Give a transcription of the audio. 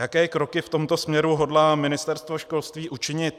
Jaké kroky v tomto směru hodlá Ministerstvo školství učinit?